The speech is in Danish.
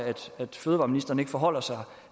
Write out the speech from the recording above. at fødevareministeren ikke forholder sig